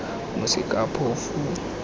mosekaphofu